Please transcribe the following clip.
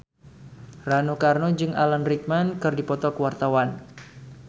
Rano Karno jeung Alan Rickman keur dipoto ku wartawan